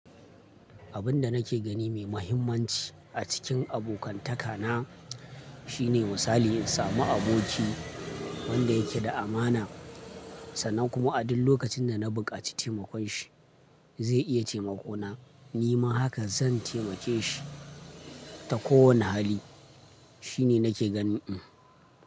Abin da nake gani mai mahimmanci a cikin abokantaka na shine misali in samu aboki wanda yake da amana sannan kuma a duk lokacin da na buƙaci taimakon shi zai iya taimako na, ni ma haka zan taimake shi ta kowani hali. Shi ne nake ganin.